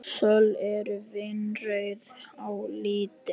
Söl eru vínrauð á litinn.